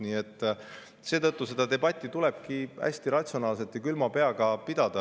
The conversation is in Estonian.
Nii et seetõttu tulebki seda debatti hästi ratsionaalselt ja külma peaga pidada.